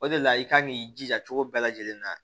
O de la i kan k'i jija cogo bɛɛ lajɛlen na